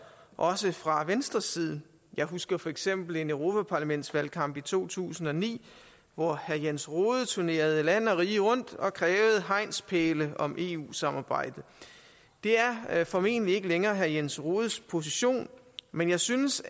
også fra venstres side jeg husker for eksempel en europaparlamentsvalgkamp i to tusind og ni hvor herre jens rohde turnerede land og rige rundt og krævede hegnspæle om eu samarbejdet det er formentlig ikke længere herre jens rohdes position men jeg synes